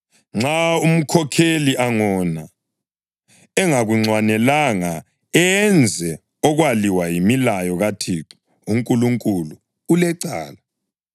Nxa umkhokheli angona engakunxwanelanga enze okwaliwa yimilayo kaThixo uNkulunkulu, ulecala.